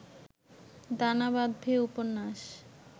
দানা বাঁধবে উপন্যাস